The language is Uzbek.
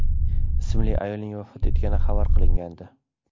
ismli ayolning vafot etgani xabar qilingandi .